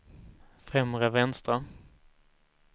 främre vänstra